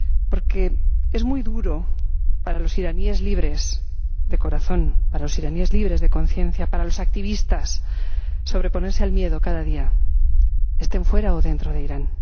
Porque es muy duro para los iraníes libres de corazón, para los iraníes libres de conciencia, para los activistas, sobreponerse al miedo cada día, estén fuera o dentro de Irán.